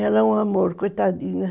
Ela é um amor, coitadinha.